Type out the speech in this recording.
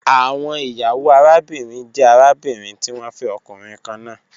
Awọn iyawo arabinrin jẹ arabinrin ti wọn fẹ ọkunrin kanna